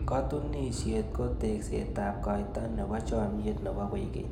Katunisyet ko tekseetab kaita nebo chomnyet nebo koikeny.